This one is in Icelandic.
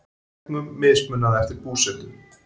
Þegnum mismunað eftir búsetu